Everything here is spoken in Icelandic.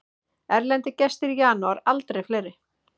Erlendir gestir í janúar aldrei fleiri